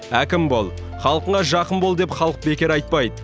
әкім бол халқыңа жақын бол деп халық бекер айтпайды